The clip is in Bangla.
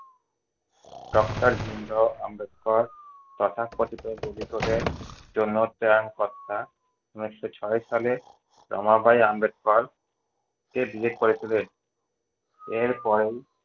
doctor ভীমরাও আম্বেদকর তথাকথিত জন্য ত্রাণকর্তা এবং ঊনিশশো ছয় সালে রমাবাঈ আম্বেদকর কে বিয়ে করে ছিলেন। এর পরেই